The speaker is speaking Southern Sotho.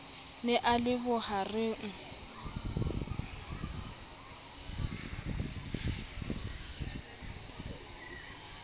o ne a le bohareng